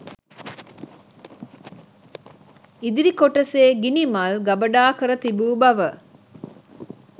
ඉදිරි කොටසේ ගිනිමල් ගබඩා කර තිබූ බව